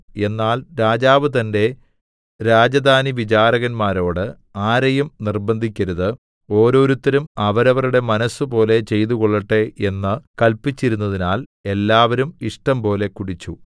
എന്നാൽ രാജാവ് തന്റെ രാജധാനിവിചാരകന്മാരോട് ആരെയും നിർബ്ബന്ധിക്കരുത് ഓരോരുത്തരും അവരവരുടെ മനസ്സുപോലെ ചെയ്തുകൊള്ളട്ടെ എന്ന് കല്പിച്ചിരുന്നതിനാൽ എല്ലാവരും ഇഷ്ടംപോലെ കുടിച്ചു